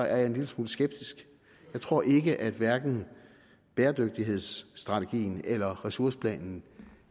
er en lille smule skeptisk jeg tror ikke at hverken bæredygtighedsstrategien eller ressourceplanen